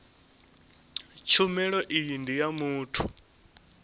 tshumelo iyi ndi ya muthu